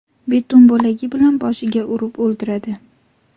Beton bo‘lagi bilan boshiga urib o‘ldiradi.